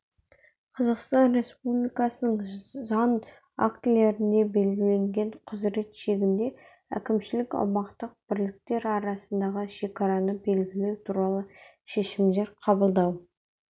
қазақстан республикасының заң актілерінде белгіленген құзырет шегінде әкімшілік-аумақтық бірліктер арасындағы шекараны белгілеу туралы шешімдер қабылдау